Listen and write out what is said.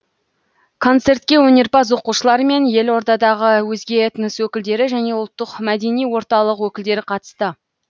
концертке өнерпаз оқушылар мен елордадағы өзге этнос өкілдері және ұлттық мәдени орталық өкілдері қатысты